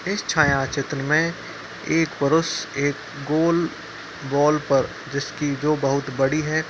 इस छाया चित्र में एक पुरुष एक गोल बॉल पर जिसकी जो बहुत बड़ी है।